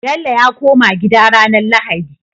Bello ya koma gida ranar lahadi